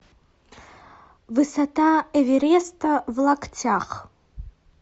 высота эвереста в локтях